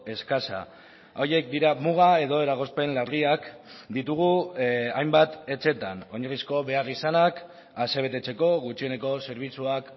eskasa horiek dira muga edo eragozpen larriak ditugu hainbat etxeetan oinarrizko beharrizanak asebetetzeko gutxieneko zerbitzuak